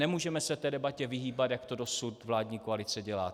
Nemůžeme se té debatě vyhýbat, jak to dosud vládní koalice dělá.